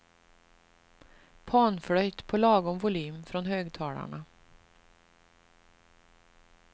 Panflöjt på lagom volym från högtalarna.